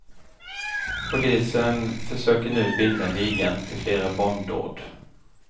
Polisen försöker nu binda ligan till flera bombdåd.